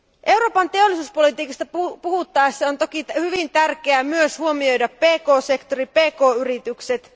Euroopan teollisuuspolitiikasta puhuttaessa on toki hyvin tärkeää myös huomioida pk sektori, pk yritykset.